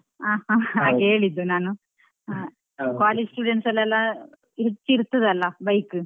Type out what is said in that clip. ಹಾಗ್ ಹೇಳಿದ್ದು ನಾನು college students ಅಲ್ಲೆಲ್ಲಾ ಹುಚ್ಚು ಇರ್ತದಲ್ಲ bike .